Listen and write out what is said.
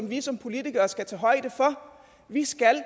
vi som politikere skal tage højde for vi skal